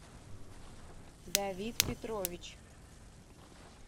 давид петрович